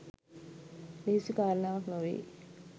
ලෙහෙසි කාරණාවක් නොවෙයි.